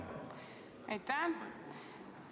Aitäh!